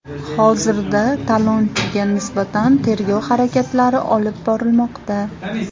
Hozirda talonchiga nisbatan tergov harakatlari olib borilmoqda.